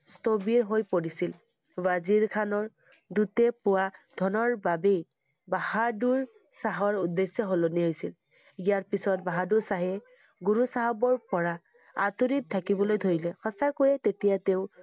স্থৱিৰ হৈ পৰিছিল। ৱাজীৰ খানৰ দূতে পোৱা ধনৰ বাবেই বাহা~দুৰ শাহৰ উদ্দেশ্য সলনি হৈছিল। ইয়াৰ পিছত বাহাদুৰ শ্বাহে গুৰু চাহাবৰ পৰা আঁতৰি থাকিবলৈ ধৰিলে। সঁচাকৈয়ে তেতিয়া তেওঁ